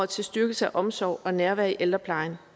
til styrkelse af omsorg og nærvær i ældreplejen